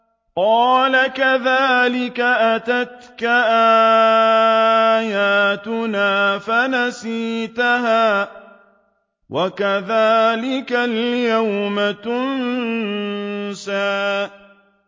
قَالَ كَذَٰلِكَ أَتَتْكَ آيَاتُنَا فَنَسِيتَهَا ۖ وَكَذَٰلِكَ الْيَوْمَ تُنسَىٰ